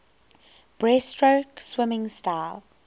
breaststroke swimming style